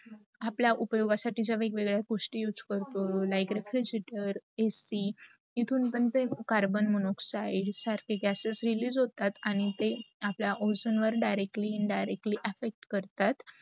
आपला उपयोगा साठी वेग- वेगळ्या गोष्टी use करतो like, refegerator, AC, तीतून पण ते कार्बन मनोक्सीडे सारखे gases release होतात आणी ते आपला ओझोनवर directly, indirectly effect करतात.